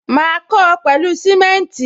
Ma kó o pẹlu simenti